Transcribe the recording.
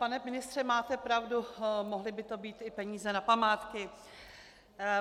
Pane ministře, máte pravdu, mohly by to být i peníze na památky.